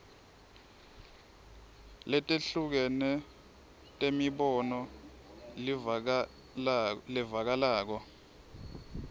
letehlukene temibono levakalako